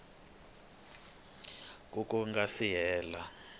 ku ku nga si hela